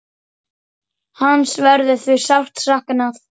Hans verður því sárt saknað.